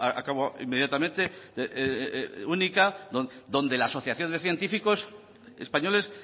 acabo inmediatamente única donde la asociación de científicos españoles